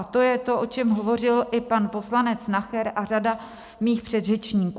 A to je to, o čem hovořil i pan poslanec Nacher a řada mých předřečníků.